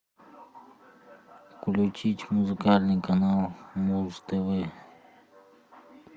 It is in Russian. включить музыкальный канал муз тв